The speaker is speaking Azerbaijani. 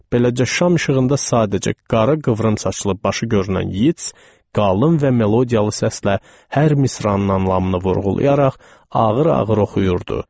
Beləcə şam işığında sadəcə qara qıvrım saçılıb başı görünən Yeats qalın və melodiyalı səslə hər misranın anlamını vurğulayaraq ağır-ağır oxuyurdu.